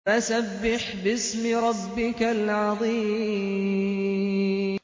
فَسَبِّحْ بِاسْمِ رَبِّكَ الْعَظِيمِ